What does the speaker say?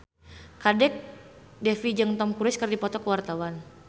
Kadek Devi jeung Tom Cruise keur dipoto ku wartawan